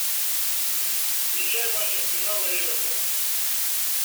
включай матч арсенала и эвертона